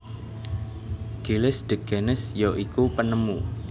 Gilles de Gennes ya iku penemu